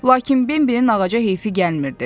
Lakin Bembinin ağaca heyfi gəlmirdi.